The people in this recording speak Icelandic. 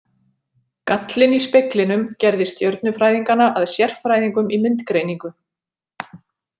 Gallinn í speglinum gerði stjörnufræðingana að sérfræðingum í myndgreiningu.